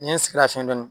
N ye n sigi lafiya dɔɔnin